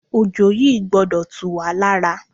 Òjò yìí gbọdọ̀ tú wá lára.